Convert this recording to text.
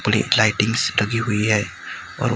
पूड़ी फ्लाइटिंग लगी हुई है और--